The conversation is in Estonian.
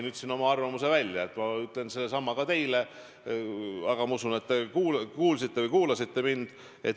Ma ütlesin oma arvamuse välja, ütlen sedasama ka teile, aga ma usun, et te kuulasite mind.